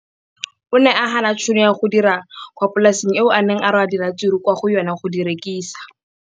O ne a gana tšhono ya go dira kwa polaseng eo a neng rwala diratsuru kwa go yona go di rekisa.